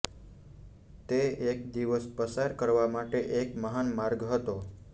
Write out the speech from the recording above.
તે એક દિવસ પસાર કરવા માટે એક મહાન માર્ગ હતો